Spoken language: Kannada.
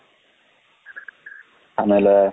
ಆಮೇಲೆ,